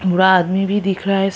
बूढ़ा आदमी भी दिख रहा है स--